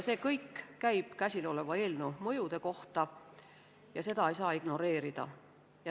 See kõik käib käsiloleva eelnõu mõjude kohta ja seda ei saa ignoreerida.